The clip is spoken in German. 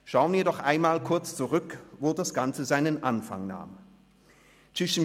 Schauen wir doch einmal kurz zurück, wo das Ganze seinen Anfang genommen hat: